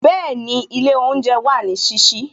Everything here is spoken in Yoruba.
Bẹẹni, ilé oúnjẹ wà ní sísí